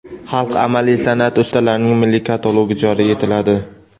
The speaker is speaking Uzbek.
"Xalq amaliy sanʼati ustalarining milliy katalogi" joriy etiladi;.